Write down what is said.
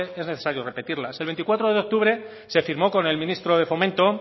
es necesario repetirlas el veinticuatro de octubre se firmó con el ministro de fomento